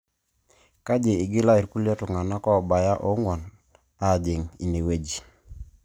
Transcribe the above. Keji igila ilrkulie tung'anak oobaya oong'uan aajing' inewueji